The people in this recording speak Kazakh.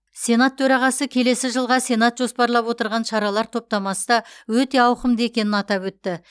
сенат төрағасы келесі жылға сенат жоспарлап отырған шаралар топтамасы да өте ауқымды екенін атап өтті